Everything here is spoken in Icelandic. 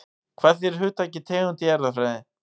Hvað þýðir hugtakið tegund í erfðafræði?